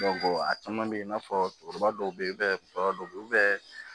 a caman bɛ i n'a fɔ cɛkɔrɔba dɔw bɛ yen u bɛ baro dɔw bɛ yen